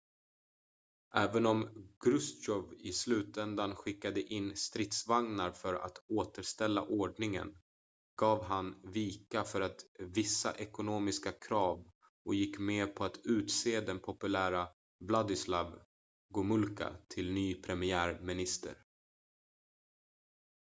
även om chrustjov i slutändan skickade in stridsvagnar för att återställa ordningen gav han vika för vissa ekonomiska krav och gick med på att utse den populära wladyslaw gomulka till ny premiärminister